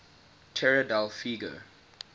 tierra del fuego